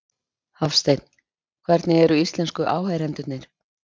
Hafsteinn: Hvernig eru íslensku áheyrendurnir?